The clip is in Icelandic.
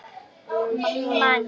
Hvernig hefur sumarið verið?